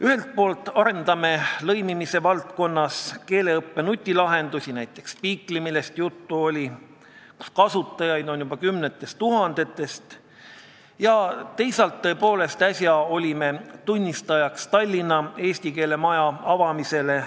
Ühelt poolt arendame lõimimise raames keeleõppe nutilahendusi – näiteks võib tuua Speakly, millest juba juttu oli ja mille kasutajaid on juba kümnetes tuhandetes –, teisalt aga olime äsja tunnistajaks Tallinna eesti keele maja avamisele.